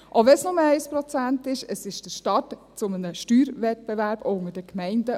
Selbst wenn es nur 1 Prozent ist, ist es ein Start eines Steuerwettbewerbs zwischen den Gemeinden.